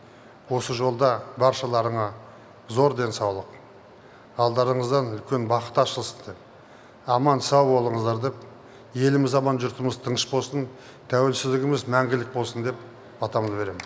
осы жолда баршаларыңа зор денсаулық алдарыңыздан үлкен бақыт ашылсын деп аман сау болыңыздар деп еліміз аман жұртымыз тыныш болсын тәуелсіздігіміз мәңгілік болсын деп батамды беремін